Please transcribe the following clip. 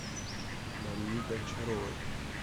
марии гончаровой